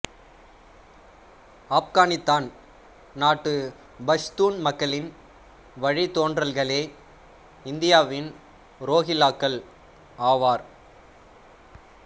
ஆப்கானித்தான் நாட்டு பஷ்தூன் மக்களின் வழித்தோன்றல்களே இந்தியாவின் ரோகில்லாக்கள் ஆவார்